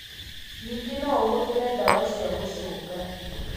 Ningĩ no ũhũthĩre ndawa cia gũcũnga.